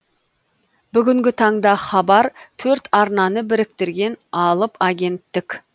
бүгінгі таңда хабар төрт арнаны біріктірген алып агенттік